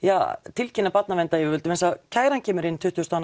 tilkynna barnaverndaryfirvöldum vegna þess að kæran kemur inn tuttugu og